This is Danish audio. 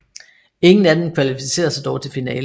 Ingen af dem kvalificerede sig dog til finalen